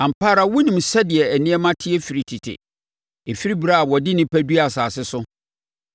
“Ampa ara wonim sɛdeɛ nneɛma teɛ firi tete, ɛfiri ɛberɛ a wɔde nnipa duaa asase so,